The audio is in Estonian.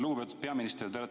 Lugupeetud peaminister!